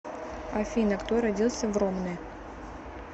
афина кто родился в ромны